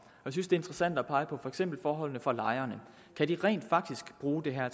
jeg synes interessant at pege på for eksempel forholdene for lejerne kan de rent faktisk bruge det her